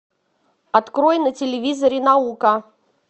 открой на телевизоре наука